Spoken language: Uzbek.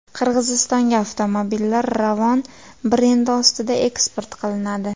Qirg‘izistonga avtomobillar Ravon brendi ostida eksport qilinadi.